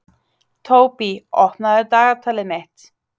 Tóbý, opnaðu dagatalið mitt.